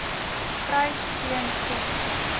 kry steun ken